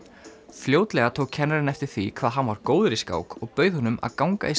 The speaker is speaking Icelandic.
fljótlega tók kennarinn eftir því hvað hann var góður í skák og bauð honum að ganga í